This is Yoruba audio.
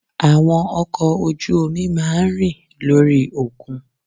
Àwọn ọkò ojú omi máa ń rìn lórí òkun